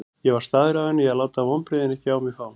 Ég var staðráðinn í að láta vonbrigðin ekki á mig fá.